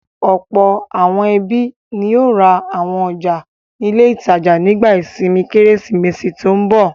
Ọ̀pọ̀ àwọn ẹbí ni yóò ra àwọn ọjà ní ilé-ìtajà nígbà ìsinmi Kérésìmesì tó ń bọ̀.